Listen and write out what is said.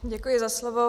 Děkuji za slovo.